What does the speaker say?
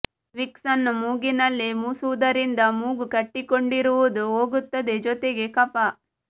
Vicks ಅನ್ನು ಮೂಗಿನಲ್ಲಿ ಮುಸುವುದರಿಂದ ಮೂಗು ಕಟ್ಟಿಕೊಂಡಿರುವುದು ಹೋಗುತ್ತದೆ ಜೊತೆಗೆ ಕಫ